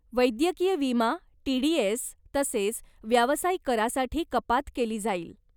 वैद्यकीय विमा, टीडीएस तसेच व्यावसायिक करासाठी कपात केली जाईल.